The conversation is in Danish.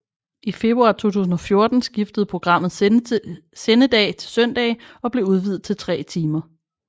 I februar 2014 skiftede programmet sendedag til søndage og blev udvidet til tre timer